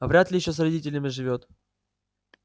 вряд ли ещё с родителями живёт